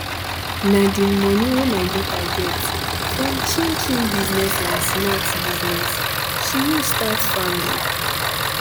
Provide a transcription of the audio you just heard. na de moni wey my daughter get from chin chin and snacks business she use start farming